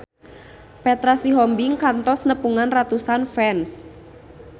Petra Sihombing kantos nepungan ratusan fans